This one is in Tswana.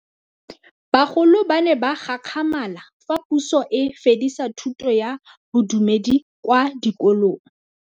Bagolo ba ne ba gakgamala fa Pusô e fedisa thutô ya Bodumedi kwa dikolong.